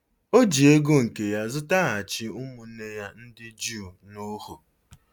O ji ego nke ya zụtaghachi ụmụnne ya ndị Juu n'ohu.